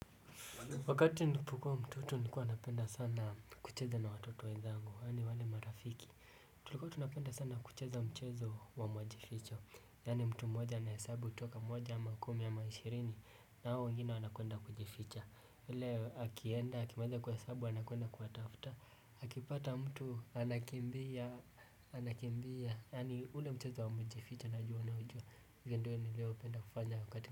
Wakati nilipokuwa mtoto nilikuwa napenda sana kucheza na watoto wenzangu, wale wale marafiki. Tulikuwa tunapenda sana kucheza mchezo wa majificho Yani mtu mmoja ana hesabu toka moja ama kumi ama ishirini. Na hao wengine wanakwenda kujificha. Ile akienda, akimaliza kuhesabu, anakwenda kuwatafuta Akipata mtu, anakimbia, anakimbia. Yani ule mchezo wa majificho na jua unaujua. Ule ndo nilioupenda kufanya wakati mtu.